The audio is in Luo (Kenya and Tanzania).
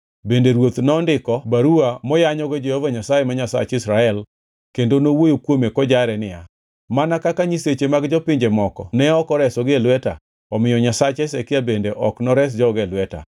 Bende ruoth nondiko baruwa moyanyogo Jehova Nyasaye, ma Nyasach Israel kendo nowuoyo kuome kojare niya, “Mana kaka nyiseche mag jopinje moko ne ok oresogi e lweta, omiyo nyasach Hezekia bende ok nores joge e lweta.”